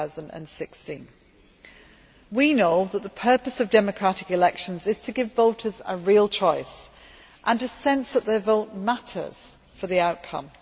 2016. We know that the purpose of democratic elections is to give voters a real choice, and a sense that their vote matters for the outcome.